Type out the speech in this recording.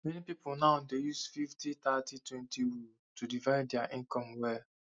many people now dey use fifty thirty twenty rule to divide their income well